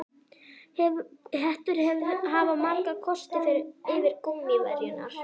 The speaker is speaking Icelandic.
Hettur hafa marga kosti fram yfir gúmmíverjurnar.